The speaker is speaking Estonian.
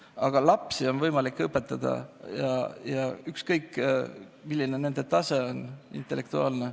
Aga lapsi on võimalik õpetada, ükskõik milline on nende intellektuaalne tase.